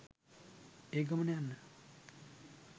ඒ ගමන යන්න